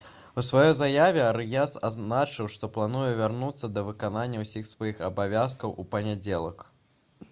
у сваёй заяве арыяс адзначыў «што плануе вярнуцца да выканання ўсіх сваіх абавязкаў у панядзелак»